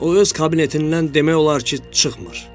O öz kabinetindən demək olar ki, çıxmır.